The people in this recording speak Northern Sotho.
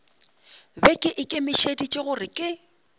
be ke ikemišeditše gore ke